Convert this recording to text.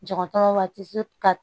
Dɔgɔtɔrɔba ti se ka